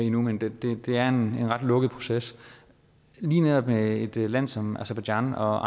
endnu men det er en ret lukket proces lige netop med et land som aserbajdsjan og